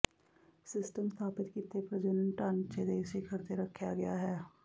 system ਸਥਾਪਿਤ ਕੀਤੇ ਪ੍ਰਜਣਨ ਢਾਂਚੇ ਦੇ ਸਿਖਰ ਤੇ ਰੱਖਿਆ ਗਿਆ ਹੈ